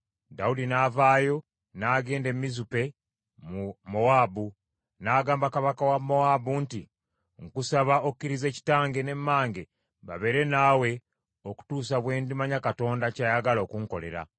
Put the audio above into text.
Dawudi n’avaayo n’agenda e Mizupe mu Mowaabu, n’agamba kabaka wa Mowaabu nti, “Nkusaba okkirize kitange ne mmange babeere naawe okutuusa bwe ndimanya Katonda ky’ayagala okunkolera.”